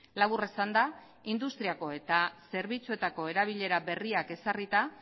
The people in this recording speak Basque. labur esanda industriako eta zerbitzuetako erabilera berriak ezarrita